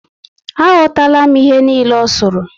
Aghotala m ihe niile o suru